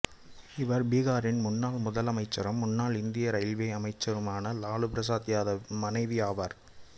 இவர் பீகாரின் முன்னாள் முதலமைச்சரும் முன்னாள் இந்திய இரயில்வே அமைச்சருமான லாலு பிரசாத் யாதவ் மனைவி ஆவார்